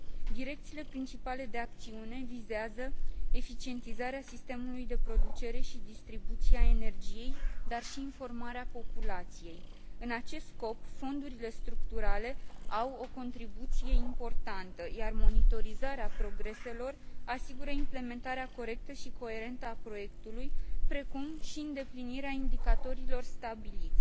Direcțiile principale de acțiune vizează eficientizarea sistemului de producere și distribuție a energiei, dar și informarea populației. În acest scop, fondurile structurale au o contribuție importantă, iar monitorizarea progreselor asigură implementarea corectă și coerentă a proiectului, precum și îndeplinirea indicatorilor stabiliți.